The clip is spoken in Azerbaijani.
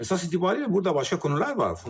Əsas etibarı ilə burda başqa konular var.